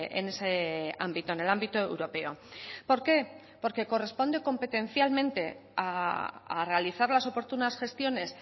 en ese ámbito en el ámbito europeo por qué porque corresponde competencialmente a realizar las oportunas gestiones